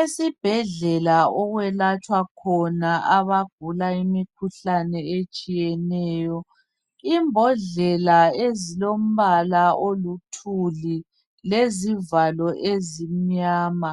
Esibhedlela okwelatshwa khona abagula imikhuhlane etshiyeneyo. Imbodlela ezilombala olithuli lezivalo ezimnyama